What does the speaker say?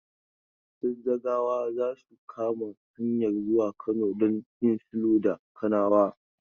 Zazzagawa za su kama hanyan zuwa Kano don yin sulhu da Kanawa.